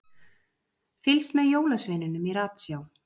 Fylgst með jólasveininum í ratsjá